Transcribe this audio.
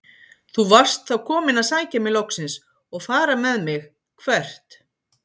Þú varst þá kominn að sækja mig loksins og fara með mig- hvert?